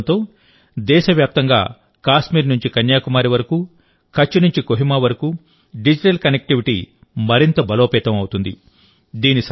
ఈ ప్రయోగంతో దేశవ్యాప్తంగా కాశ్మీర్ నుంచి కన్యాకుమారి వరకు కచ్ నుంచి కోహిమా వరకు డిజిటల్ కనెక్టివిటీ మరింత బలోపేతం అవుతుంది